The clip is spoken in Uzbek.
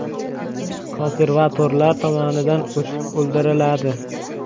Konservatorlar tomonidan otib o‘ldiriladi.